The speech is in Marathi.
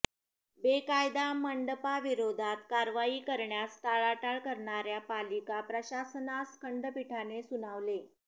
बेकायदा मंडपांविरोधात कारवाई करण्यास टाळाटाळ करणाऱ्या पालिका प्रशासनास खंडपीठाने सुनावले